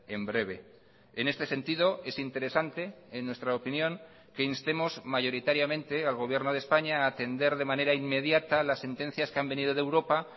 en breve en este sentido es interesante en nuestra opinión que instemos mayoritariamente al gobierno de españa a atender de manera inmediata las sentencias que han venido de europa